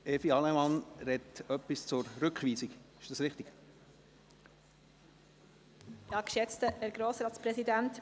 Regierungsrätin Allemann spricht zur Rückweisung.